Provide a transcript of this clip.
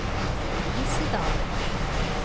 Nissedal